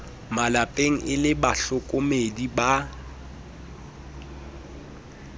malepeng e le bahlokomedi ba